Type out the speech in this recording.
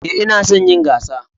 Ee, ina son yin gasa